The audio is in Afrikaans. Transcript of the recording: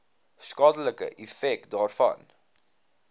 skadelike effek daarvan